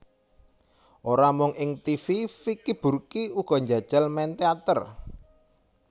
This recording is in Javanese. Ora mung ing tivi Vicky Burky uga njajal main téater